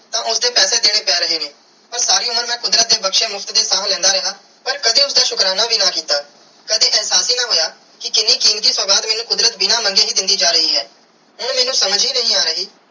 ਤੇ ਉਸਦੇ ਪੈਸੇ ਦੇਣੇ ਪੈ ਰਹੇ ਨੇ ਪਾਰ ਸਾਰੀ ਉਮਰ ਮੈਂ ਕੁਦਰਤ ਦੇ ਬਖਸ਼ੇ ਮੁਫ਼ਤ ਦੀਆ ਸਾਹ ਲੈਂਦਾ ਰਿਆ ਪਾਰ ਕਦੇ ਉਸਦਾ ਸ਼ੁਕਰਾਨਾ ਵੀ ਨਾ ਅੱਡਾ ਕੀਤਾ ਕਦੇ ਇਹਸਾਸ ਹੀ ਨਾ ਹੋਇਆ ਕੇ ਕੀਨੀ ਕੀਮਤੀ ਸੁਗਾਤ ਮੈਨੂੰ ਕੁਦਰਤ ਬਿਨਾ ਮੰਗੇ ਹੀ ਦੇਂਦੀ ਜਾ ਰੀ ਆ ਇਹ ਮੈਨੂੰ ਸਮਾਜ ਹੀ ਨਾਈ ਆਈ.